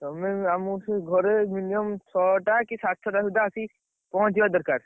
ତମେ ଆମକୁ ସେଇ ଘରେ minimum ଛଅଟା କି ସାଢେ ଛଅଟା ଭିତରେ ଆସିକି, ପହଞ୍ଚିବା ଦରକାର।